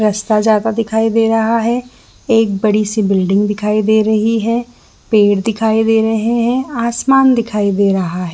रास्ता जाता दिखाई दे रहा है एक बड़ी सी बिल्डिंग दिखाई दे रही है पेड़ दिखाई दे रहे है आसमान दिखाई दे रहा है ।